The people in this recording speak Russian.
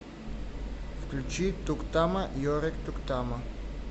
включи туктама йорэк туктама